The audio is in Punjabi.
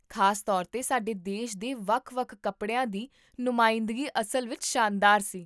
ਖ਼ਾਸ ਤੌਰ 'ਤੇ, ਸਾਡੇ ਦੇਸ਼ ਦੇ ਵੱਖ ਵੱਖ ਕੱਪੜਿਆਂ ਦੀ ਨੁਮਾਇੰਦਗੀ ਅਸਲ ਵਿੱਚ ਸ਼ਾਨਦਾਰ ਸੀ